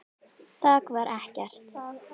Þak var ekkert.